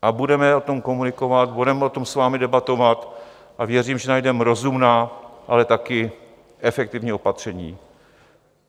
A budeme o tom komunikovat, budeme o tom s vámi debatovat a věřím, že najdeme rozumná, ale taky efektivní opatření.